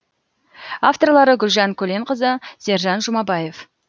авторлары гүлжан көленқызы сержан жұмабаев